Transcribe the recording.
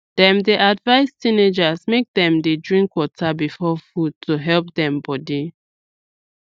dem dey advise teenagers make dem dey drink water before food to help dem body